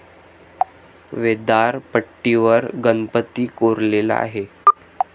व्दारपट्टीवर गणपती कोरलेला आहे.